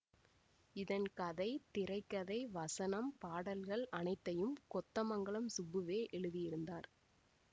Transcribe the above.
இதன் கதை திரை கதை வசனம் பாடல்கள் அனைத்தையும் கொத்தமங்கலம் சுப்புவே எழுதியிருந்தார்